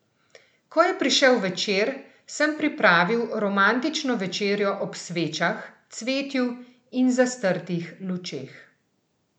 Ko je prišel večer, sem pripravil romantično večerjo ob svečah, cvetju in zastrtih lučeh.